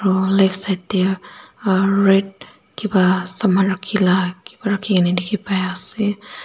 aro left side tae red kipa saman rakhila kipa rakhina dikhipaiase.